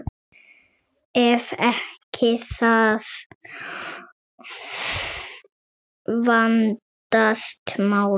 Ef ekki, þá vandast málin.